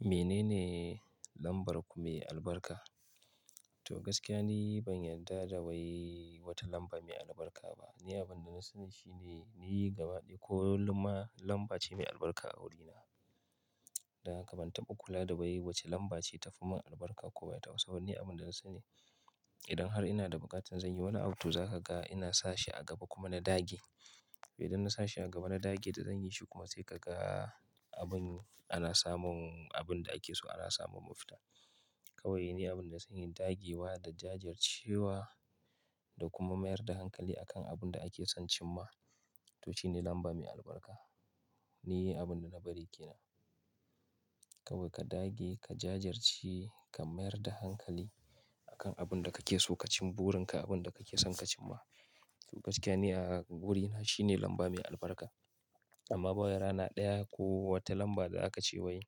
Menene lambar mai albarka? To gaskiya ni ban yarda da wai wata lamba mai albarka ba. Ni abin da na sani shine ni gaba ɗaya ko wata lamba ce mai albarka a wurina. Da haka ban taɓa kula da wai wace lamba ce ta fi mun albarka ko ba ta ba. Saboda ni abin da na sani idan har ina da buƙatar zan yi wani abu, to za ka ga ina sa shi a gaba kuma na dage. Idan na sa shi a gaba na dage da zanyi shi kuma sai ka ga abin ana samun abin da ake so ana samun mafita. Kawai ni abin da na sani dagewa da jajircewa da kuma mayar da hankali akan abin da ake son cimma to shine lamba mai albarka. Ni abin da na bari ke nan. Kawai ka dage ka jajirce, ka mayar da hankali akan abin da kake so ka cimma burin ka abin da kake son ka cimma. To gaskiya ne a wurina shine lamba mai albarka. Amma ba ya rana ɗaya ko wata lamba da za ka ce wai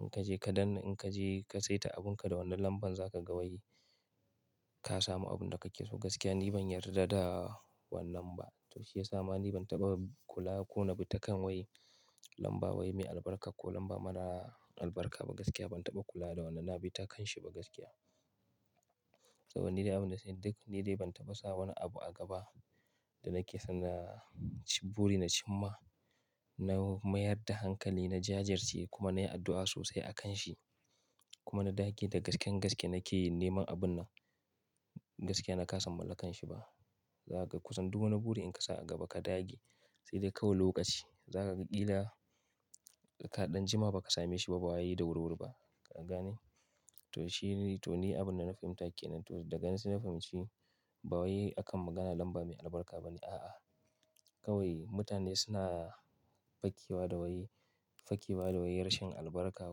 in ka je ka danne, in ka je ka saita abun ka da wannan lamban za ka ga wai ka samu abin da kake so. Gaskiya ni ban yarda da wannan ba. To shiyasa ma ni ban taɓa kula ko na bi ta kan wai lamba wai mai albarka ko lamba mara albarka ba. Gaskiya ban taɓa kula da wannan, na bi ta kanshi ba gaskiya. Saboda ni dai abin da na sani duk ni dai ban taɓa sa wani abu a gaba da nake son na ci buri na cimma, na mayar da hankali, na jajirce kuma na yi addu'a sosai akan shi. Kuma na dage da gasken gaske nake neman abun nan. Gaskiya na kasa mallakanshi ba. Za ka kusan duk wani buri in ka sa a gaba ka dage sai dai kawai lokaci. Za ka ƙila ka ɗan jima ba ka same shi ba, ba wa yayi da wuri-wuri ba. Ka gane? To shi ne, to ni abin da na fahimta ke nan to daga nan sai na fahimci ba wai akan maganar lamba mai albarka ba ne. A'a, kawai mutane suna fakewa da wai, fakewa da wai rashin albarka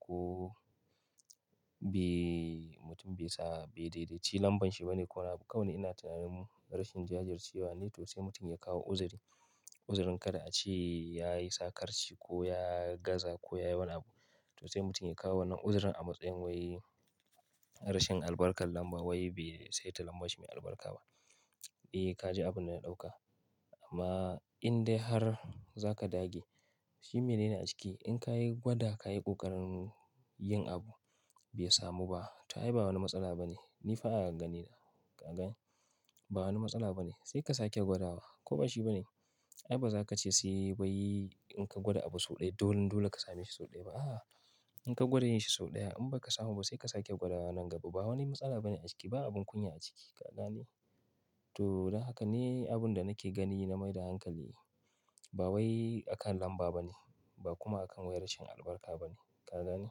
ko be mutum be sa be daidaici lambar shi ba ne. Kawai ina tunanin rashin jajircewa ne to sai mutum ya kawo uzuri. Uzurin kada a ce ya yi sakarci ko ya gaza ko ya yi wani abu. To sai mutum ya kawo wannan uzurin a matsayin wai rashin albarkar lamba wai be sai ta lamba shi mai albarka ba. Eh ka ji abin da na ɗauka. Amma in dai har za ka dage, shi mene ne a ciki? In ka yi gwada, ka yi ƙoƙarin yin abu bai samu ba ta ai ba wani matsala ba ne. Ni fa! Agani na. Ka gane? Ba wani matsala ba ne. Sai ka sake gwada wa. Ko ba shi ba ne? Ai ba za ka ce sai wai in ka gwada abu sau ɗaya, dole-dole ka same shi sau ɗaya ba. A'a. In ka gwada yin shi sau ɗaya in bai ka samu ba sai ka sake gwada wannan gaba. Ba wani matsala ba ne a ciki. Ba abin kunya a ciki. Ka gane? To, da haka ne abin da nake gani na mai da hankali. Ba wai akan lamba ba ne ba kuma akan wai rashin albarka ba ne. Ka gane?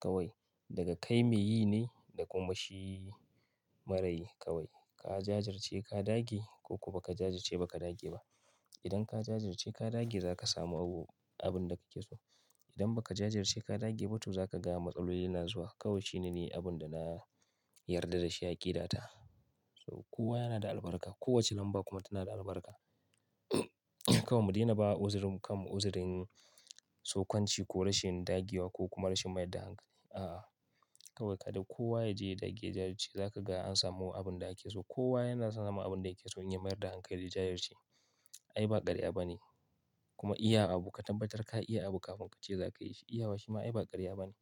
Kawai daga kai me yi ne da kuma shi marayi kawai. Ka jajirce ka dage ko kuma ba ka jajirce ba ka dage ba. Idan ka jajirce ka dage za ka samu abu abin da kake so. Idan ba ka jajirce ka dage ba to za ka ga matsaloli na zuwa. Kawai shi ne ni abin da na yarda da shi aƙidata. So kowa yana da albarka. Kowace lamba kuma tana da albarka. Kawai mu daina ba uzuri mu kanmu uzurin tsokonci ko rashin dagewa ko kuma rashin mayar da hankali. A'a. Kawai ka dai kowa ya je ya dage ya jajirce za ka ga an samu abin da ake so. Kowa yana son samun abin da yake so in ya mayar da hankali ya jajirce. Ai ba ƙarya ba ne. Kuma iya abu, ka tabbatar ka iya abu kafin ka ce za ka yi shi. Iyawa shi ma ai ba ƙarya ba ne.